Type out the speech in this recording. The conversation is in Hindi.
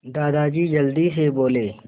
दादाजी जल्दी से बोले